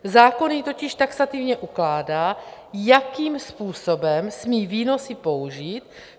Zákon jí totiž taxativně ukládá, jakým způsobem smí výnosy použít.